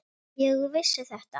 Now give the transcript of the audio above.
Ég vissi þetta!